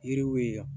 Yiriw ye